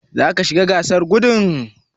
Zaka shiga gasar gudun?